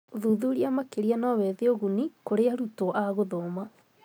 Ũthuthuria makĩria no wethe ũguni kũrĩ arutwo agũthoma.